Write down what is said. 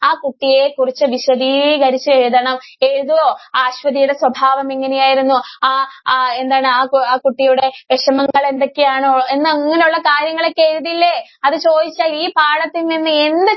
ആ കുട്ടിയെ കുറിച്ച് വിശദീകരിച്ച് എഴുതണം. ഏഴുതുവോ? ആ അശ്വതിയുടെ സ്വഭാവം എങ്ങനെയായിരുന്നു? ആ, ആ എന്താണ് ആ കു~കുട്ടിയുടെ വെഷമങ്ങള്‍ എന്തൊക്കെയാണ്? എന്നങ്ങനെയുള്ള കാര്യങ്ങള്‍ ഒക്കെ എഴുതില്ലേ? അത് ചോദിച്ചാല്‍ ഈ പാഠത്തില്‍ നിന്ന് എന്ത്